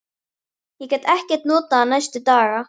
Ég gat ekkert notað hann næstu daga.